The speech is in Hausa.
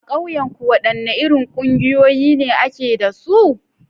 A kauyenku, wadanne irin kungiyoyi ne ake da su?